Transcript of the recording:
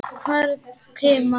Hvern kima.